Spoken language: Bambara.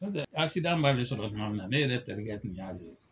Nɔ te b'a sɔrɔ tuma min na ne yɛrɛ terikɛ tun y'a ye.